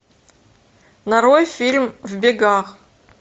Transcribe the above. нарой фильм в бегах